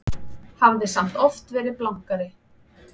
Hafði samt oft verið blankari.